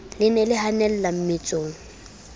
le ne le hanella mmetsong